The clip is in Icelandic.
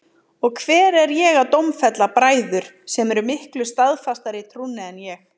Og hver er ég að dómfella bræður sem eru miklu staðfastari í trúnni en ég?